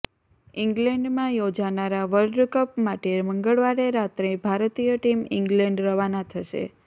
ઇંગ્લેન્ડમાં યોજાનારા world cup માટે મંગળવારે રાત્રે ભારતીય ટીમ ઇંગ્લેન્ડ રવાના થશે